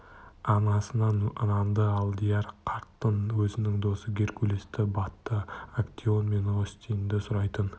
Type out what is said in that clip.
анасынан нанды алдияр қартты өзінің досы геркулесті батты актеон мен остинді сұрайтын